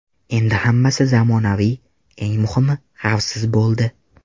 Endi hammasi zamonaviy, eng muhimi, xavfsiz bo‘ldi.